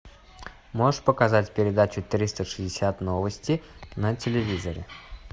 можешь показать передачу триста шестьдесят новости на телевизоре